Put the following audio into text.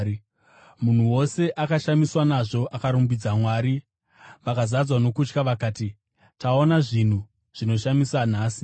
Munhu wose akashamiswa nazvo akarumbidza Mwari. Vakazadzwa nokutya vakati, “Taona zvinhu zvinoshamisa nhasi.”